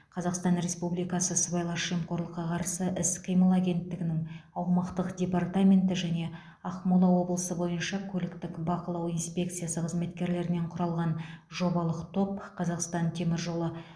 қазақстан республикасы сыбайлас жемқорлыққа қарсы іс қимыл агенттігінің аумақтық департаменті және ақмола облысы бойынша көліктік бақылау инспекциясы қызметкерлерінен құралған жобалық топ қазақстан темір жолы